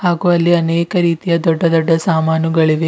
ಹಾಗು ಅಲ್ಲಿ ಅನೇಕ ರೀತಿಯ ದೊಡ್ಡ ದೊಡ್ಡ ಸಾಮಾನುಗಳಿವೆ.